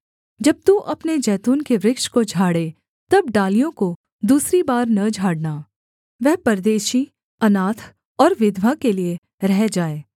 जब तू अपने जैतून के वृक्ष को झाड़े तब डालियों को दूसरी बार न झाड़ना वह परदेशी अनाथ और विधवा के लिये रह जाए